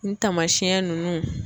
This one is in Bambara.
N taamasiyɛn nunnu